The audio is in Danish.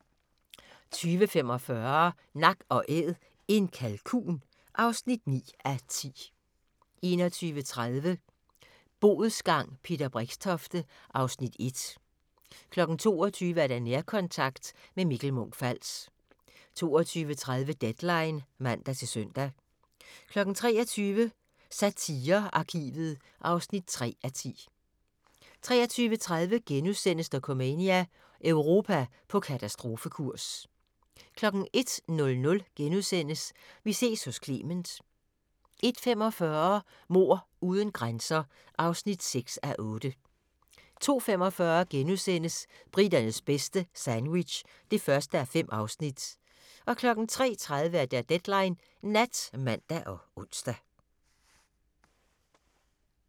20:45: Nak & Æd - en kalkun (9:10) 21:30: Bodsgang – Peter Brixtofte (Afs. 1) 22:00: Nærkontakt – med Mikkel Munch-Fals 22:30: Deadline (man-søn) 23:00: Satirearkivet (3:10) 23:30: Dokumania: Europa på katastrofekurs * 01:00: Vi ses hos Clement * 01:45: Mord uden grænser (6:8) 02:45: Briternes bedste - sandwich (1:5)* 03:30: Deadline Nat (man og ons)